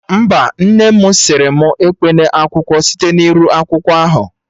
Mba, nne mụ sịrị mụ ekpena akwụkwọ site na iru akwụkwọ ahụ